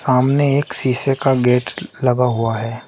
आमने एक शीशे का गेट लगा हुआ है।